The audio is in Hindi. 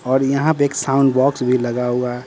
और यहां पे एक साउंड बॉक्स भी लगा हुआ--